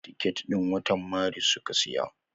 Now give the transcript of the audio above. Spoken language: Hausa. Ticket din watan maris suka siya.